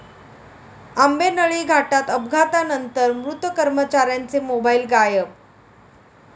आंबेनळी घाटात अपघातानंतर मृत कर्मचाऱ्यांचे मोबाईल गायब